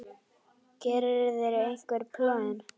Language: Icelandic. Gerirðu einhver plön?